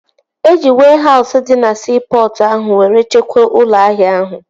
Eji wehause dị na siipọtụ ahụ were chekwaa ụlọ ahịa ahụ